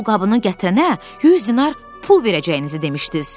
Siz pulqabını gətirənə 100 dinar pul verəcəyinizi demişdiz.